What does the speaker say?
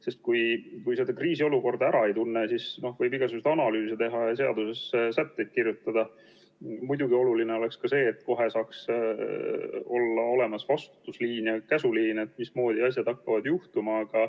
Sest kui seda kriisiolukorda ära ei tunne, siis võib igasuguseid analüüse teha ja seadusesse sätteid kirjutada, kuid oluline on ka see, et kohe saaks olla olemas vastutusliin ja käsuliin, mismoodi asjad hakkavad juhtuma.